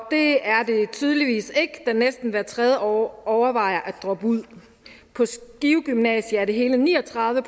det er det tydeligvis ikke da næsten hver tredje overvejer at droppe ud på skive gymnasium er det hele ni og tredive